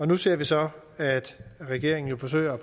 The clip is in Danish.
nu ser vi så at regeringen forsøger